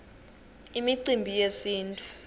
imicimbi yesintfu